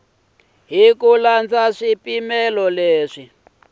hi ku landza swipimelo leswi